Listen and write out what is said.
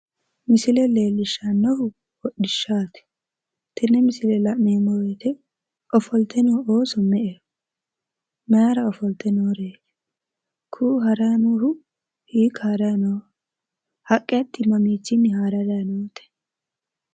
Misile leellishshannohu hodhishshaati. Tenne misile la'neemmo woyite ofolte noo ooso me'eho? Mayira ofolte nooreeti? Kuu'u haranni noohu hiikka harayi nooho? Haqqe hatti mamiichira haare harayi noote?